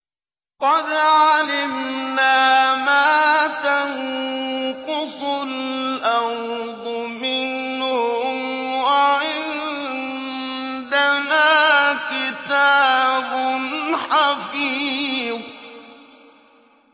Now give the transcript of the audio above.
قَدْ عَلِمْنَا مَا تَنقُصُ الْأَرْضُ مِنْهُمْ ۖ وَعِندَنَا كِتَابٌ حَفِيظٌ